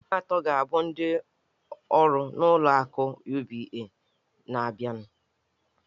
Ndị enyi m atọ ga-abụ ndị ọrụ n'ụlọ akụ UBA. na-abịanụ